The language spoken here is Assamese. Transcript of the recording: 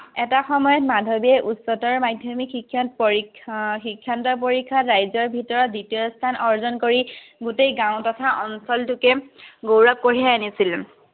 এটা সময়ত মাধৱীয়ে উচ্চতৰ মাধ্যমিক শিক্ষণ পৰীক্ষণ আহ শিক্ষান্ত পৰীক্ষাত ৰাজ্যৰ ভিতৰত দ্বিতীয়স্থান অৰ্জন কৰি গোটেই গাঁও তথা অঞ্চলটোকে গৌৰৱ কঢ়িয়াই আনিছিল।